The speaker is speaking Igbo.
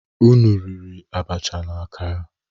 Unu riri achịcha na akara?